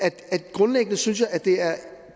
grundlæggende synes at det er